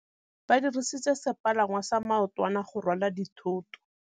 Ba dirisitse sepalangwasa maotwana go rwala dithôtô.